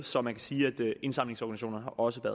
så man kan sige at indsamlingsorganisationerne også